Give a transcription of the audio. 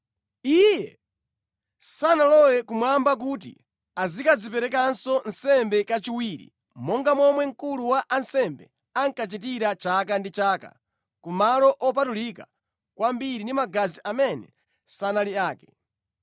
Iye sanalowe kumwamba kuti azikadziperekanso nsembe kachiwiri monga momwe mkulu wa ansembe ankachitira chaka ndi chaka ku Malo Opatulika kwambiri ndi magazi amene sanali ake.